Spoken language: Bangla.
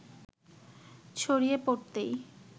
ছড়িয়ে পড়তেই